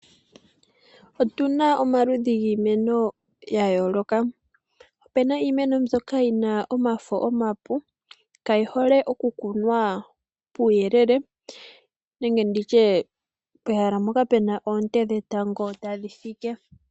Otu na omaludhi giimeno ya yooloka, ope na iimeno mbyoka yi na omafo omapu, kayi hole okukunwa puuyelele nenge nditye pehala mpoka puna oonte dhetango tadhi fike.